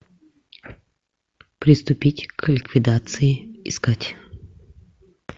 приступить к ликвидации искать